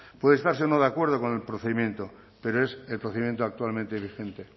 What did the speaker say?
puede estarse o no de acuerdo con el procedimiento pero es el procedimiento actualmente vigente